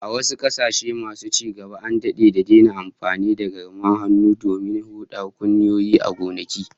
A wasu kasashen masu ci gaba, an dade da daina amfani da garmar hannun domin hudar kunyoyi a gonaki